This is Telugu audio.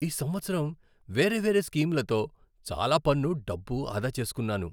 ఈ సంవత్సరం వేరే వేరే స్కీంలతో చాలా పన్ను డబ్బు ఆదా చేస్కున్నాను.